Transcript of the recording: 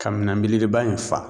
Ka minan belebeleba in fa.